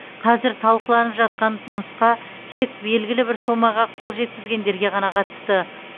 қазір талқыланып жатқан нұсқа тек белгілі бір сомаға қол жеткізгендерге ғана қатысты